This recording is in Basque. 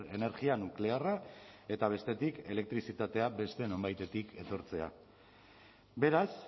energia nuklearra eta bestetik elektrizitatea beste nonbaitetik etortzea beraz